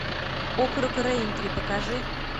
округ рэйнтри покажи